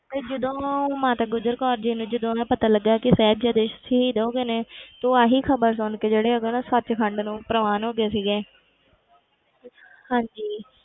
ਤੇ ਜਦੋਂ ਮਾਤਾ ਗੁਜ਼ਰ ਕੌਰ ਜੀ ਨੂੰ ਨਾ ਪਤਾ ਲੱਗਿਆ ਕਿ ਸਾਹਿਬਜ਼ਾਦੇ ਸ਼ਹੀਦ ਹੋ ਗਏ ਨੇ ਤੇ ਉਹ ਆਹੀ ਖ਼ਬਰ ਸੁਣ ਕੇ ਜਿਹੜੇ ਉਦੋਂ ਨਾ ਸੱਚਖੰਡ ਨੂੰ ਪ੍ਰਵਾਨ ਹੋ ਗਏ ਸੀਗੇ ਹਾਂਜੀ।